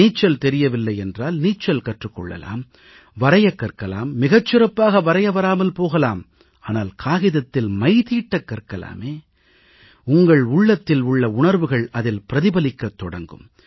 நீச்சல் தெரியவில்லை என்றால் நீச்சல் கற்றுக் கொள்ளலாம் ஓவியம் வரையக் கற்கலாம் மிகச் சிறப்பாக வரைய வராமல் போகலாம் ஆனால் காகிதத்தில் மைதீட்டக் கற்கலாமே உங்கள் உள்ளத்தில் உள்ள உணர்வுகள் அதில் பிரதிபலிக்கத் தொடங்கும்